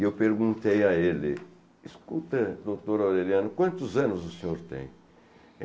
E eu perguntei a ele escuta, doutor Aureliano, quantos anos o senhor tem?